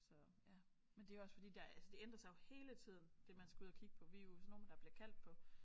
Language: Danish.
Så ja men det er jo også fordi der altså det ændrer sig jo hele tiden det man skal ud at kigge på vi er jo sådan nogle der bliver kaldt på